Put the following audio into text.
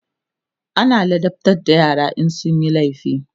ana ladabtar da yara in sunyi laifi